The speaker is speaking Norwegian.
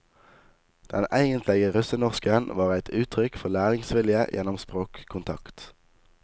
Den eigentlege russenorsken var eit uttrykk for læringsvilje gjennom språkkontakt.